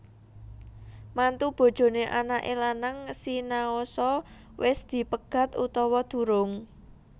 Mantu bojoné anaké lanang sinaosa wis dipegat utawa durung